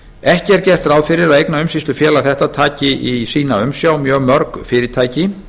ekki er gert ráð fyrir að eignaumsýslufélag þetta taki í sína umsjá mjög mörg fyrirtæki